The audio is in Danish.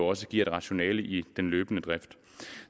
også giver et rationale i den løbende drift